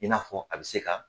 I n'a fɔ a bɛ se ka